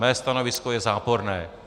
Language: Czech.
Mé stanovisko je záporné.